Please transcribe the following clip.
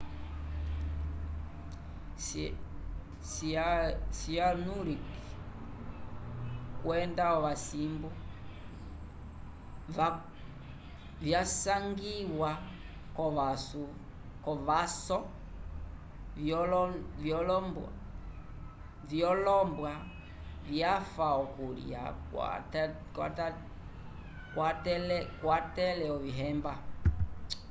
o-cyanuric kwenda owasindu vyasanguiwa kovãsu vyolombwa vyafa pokulya vyakwatele ovihemba